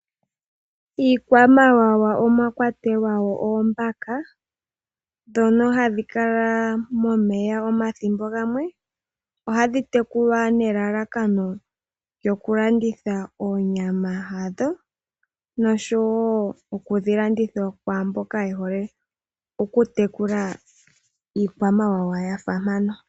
Iikwamawawa omwa kwatelwa oombaka ndhono hadhi kala momeya omathimbo gamwe. Ohadhi tekulwa nelalakano lyokulandulitha onyama noshowoo okudhi landitha kwaa mboka ye hole okutekula iikwamawawa ya fa mpano.